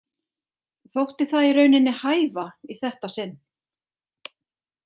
Þótti það í rauninni hæfa í þetta sinn.